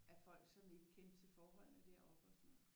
Af folk som ikke kendte til forholdene deroppe og sådan noget